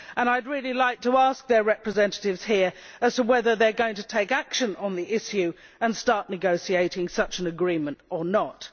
I would really like to ask their representatives here whether they are going to take action on the issue and start negotiating such an agreement or not?